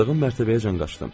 Yaşadığım mərtəbəyəcən qaçdım.